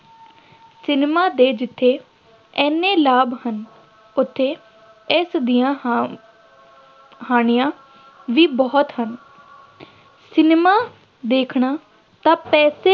cinema ਦੇ ਜਿੱਥੇ ਐਨੇ ਲਾਭ ਹਨ, ਉੱਥੇ ਇਸ ਦੀਆਂ ਹਾਨ ਹਾਨੀਆਂ ਵੀ ਬਹੁਤ ਹਨ ਸਿਨੇਮਾ ਦੇਖਣਾ ਤਾਂ ਪੈਸੇ